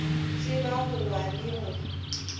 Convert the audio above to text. tseba go wa le go